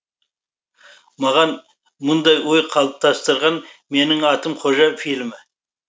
маған мұндай ой қалыптастырған менің атым қожа фильмі